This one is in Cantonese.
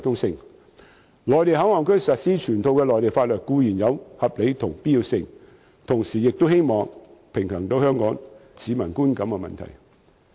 而在內地口岸區實施全套內地法律，固然亦有其合理性和必要性，希望可以同時平衡香港市民的觀感。